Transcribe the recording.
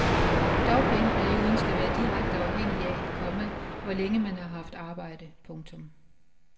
Dagpengeperioden skal være direkte afhængig af, komma hvor længe man har haft arbejde. punktum